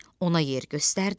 Ona yer göstərdi.